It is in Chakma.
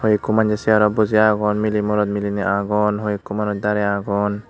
hoiekko manye chareowt boji aagon melay morot meliney aagon hoiekko manus darey aagon.